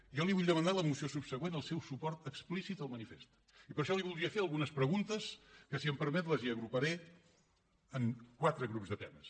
jo li vull demanar a la moció subsegüent el seu suport explícit al manifest i per això li voldria fer algunes preguntes que si em permet les hi agruparé en quatre grups de temes